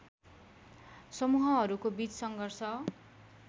समूहहरूको बीच सङ्घर्ष